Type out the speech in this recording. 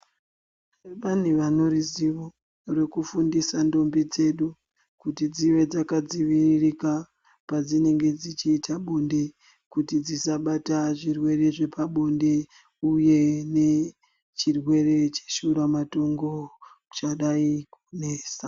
Pane vanoriziva rekufindisa ndombi dzedu kuti dzive dzakadziviririka padzinenge dzichiita bonde kuti dzisabata zvirwere zvepabonde uye nechirwere cheshura matongo chadai kunesa.